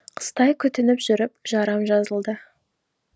қыстай күтініп жүріп жарам жазылды